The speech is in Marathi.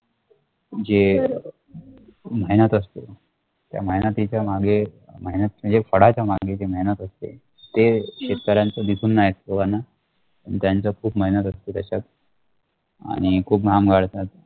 तुमचे मेहनत असतो त्या मेहेनतीचा मागे मेहेनत म्हणजे फळाच्या मागे जे मेहेनत असतो ते शेतकरीयांचं दिसुन नाही असतो लोकांना पण त्याचं खुप मेहेनत असतो त्याचात आणि खुप घाम गळतात